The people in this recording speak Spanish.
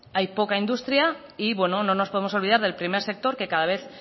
hay poca industria y no nos podemos olvidar del primer sector que cada vez